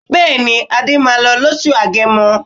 Bẹ́ẹ̀ni, Adé máa lọ lóṣù Agẹmọ.